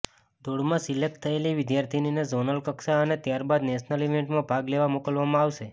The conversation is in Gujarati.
દોડમાં સિલેક્ટ થયેલી વિદ્યાર્થિનીને ઝોનલ કક્ષાએ અને ત્યારબાદ નેશનલ ઇવેન્ટમાં ભાગ લેવા મોકલવામાં આવશે